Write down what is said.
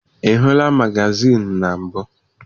Ị hụla magazịịnụ na mbụ?